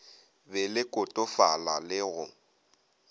be le kotofala le go